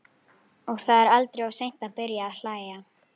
Og það er aldrei of seint að byrja að hlæja.